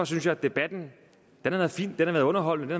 synes at debatten har været fin den har været underholdende